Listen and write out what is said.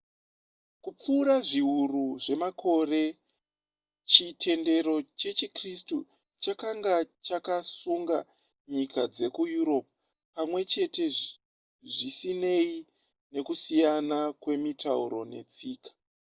kupfuura zviuru zvemakore chitendero chechikritsu chakanga chakasunga nyika dzekueurope pamwe chete zvisinei nekusiyana kwemitauro netsika